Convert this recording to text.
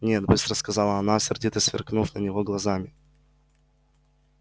нет быстро сказала она сердито сверкнув на него глазами